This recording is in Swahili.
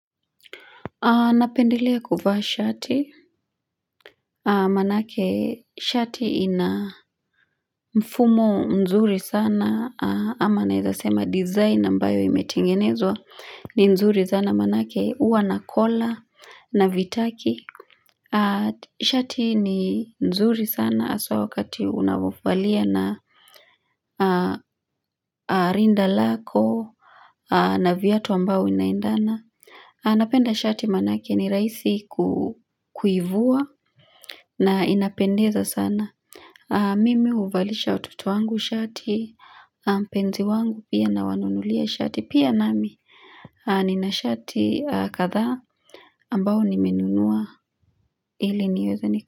Napendelea kuvaa shati, manake shati ina mfumo nzuri sana ama naezasema design ambayo imetengenezwa ni nzuri sana maanake huwa na colra na vitaki. Shati ni nzuri sana haswa wakati unapovalia na rinda lako na viatu ambao inaendana. Napenda shati manake ni rahisi kuivua na inapendeza sana. Mimi huvalisha watoto wangu shati, mpenzi wangu pia na wanunulia shati. Pia nami nina shati kathaa ambao nimenunua ili niweze niko.